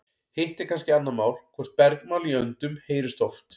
hitt er kannski annað mál hvort bergmál í öndum heyrist oft